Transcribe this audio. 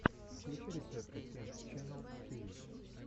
включи рецепты кент ченнал тв